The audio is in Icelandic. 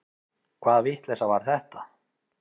Hvaða vitleysa var þetta?